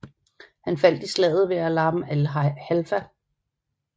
Han faldt i slaget ved Alam el Halfa